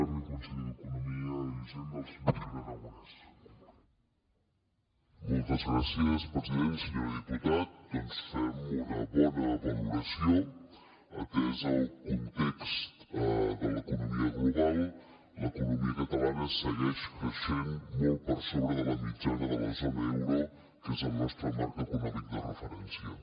senyor diputat doncs fem una bona valoració atès el context de l’economia global l’economia catalana segueix creixent molt per sobre de la mitjana de la zona euro que és el nostre marc econòmic de referència